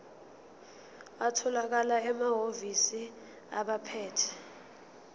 atholakala emahhovisi abaphethe